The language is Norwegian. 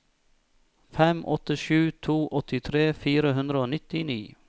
fem åtte sju to åttitre fire hundre og nittini